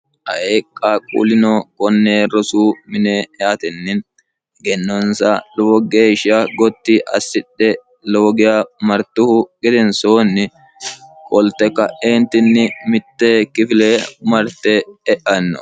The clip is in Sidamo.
aeqqa quullino konne rosu mine eatenni higennonsa lowo geeshsha gotti assidhe loogiya martuhu gedensoonni kolte ka'eentinni mitte kifile umarte e'anno